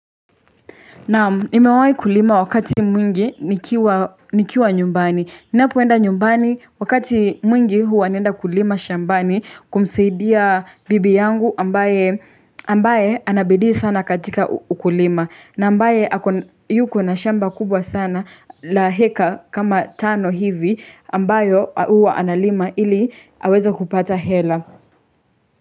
Naam, nimewahii kulima wakati mwingi nikiwa nyumbani. Ninapoenda nyumbani wakati mwingi huwa nienda kulima shambani kumsaidia bibi yangu ambaye anabiddi sana katika ukulima. Na ambaye yuko na shamba kubwa sana la heka kama tano hivi ambayo huwa analima ili haweza kupata hela.